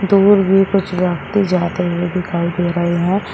दूर भी कुछ व्यक्ति जाते हुए दिखाई दे रहे हैं।